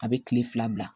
A bɛ tile fila bila